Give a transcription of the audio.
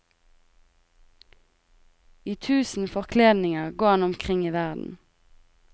I tusen forkledninger går han omkring i verden.